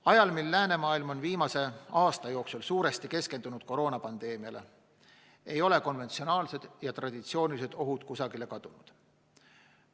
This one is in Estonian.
Ajal, mil läänemaailm on viimase aasta jooksul suuresti keskendunud koroonapandeemiale, ei ole konventsionaalsed ja traditsioonilised ohud kusagile kadunud.